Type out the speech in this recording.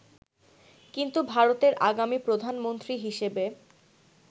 কিন্তু ভারতের আগামী প্রধানমন্ত্রী হিসেবে